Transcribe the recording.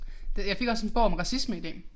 Det jeg fik også en bog om racisme i dag